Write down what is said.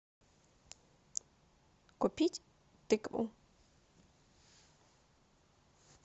купить тыкву